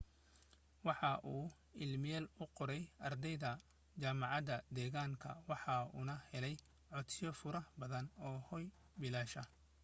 waxa uu iimeyl u qoray ardayda jaamacada deeganka waxa uuna helay codsiyo faro badan oo hooy bilaasha